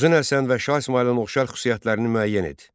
Uzun Həsən və Şah İsmayılın oxşar xüsusiyyətlərini müəyyən et.